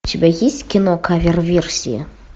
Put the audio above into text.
у тебя есть кино кавер версия